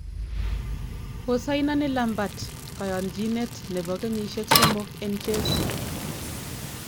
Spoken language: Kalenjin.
Kosaineni Lampard koyonchinet nebo kenyisiek somok en Chelsea